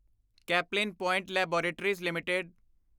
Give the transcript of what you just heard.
Caplin point laboratories LTD